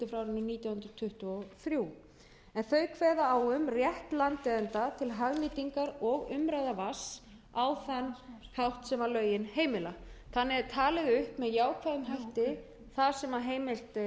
nítján hundruð tuttugu og þrjú en þau kveða á um rétt landeiganda til hagnýtingar og umráða vatns á þann hátt sem lögin heimila þannig er talið upp að jákvæðum hætti baða á heimilt